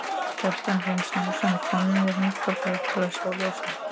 Kjartan Hreinn Njálsson: Komuð þið hingað bara til að sjá ljósin?